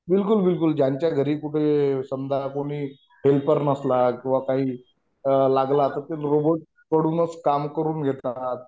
बिलकुल बिलकुल ज्यांच्या घरी कुठं समजा कोणी हेल्पर नसला किंवा काही लागलं तर ते रोबोट कडूनच काम करून घेतात.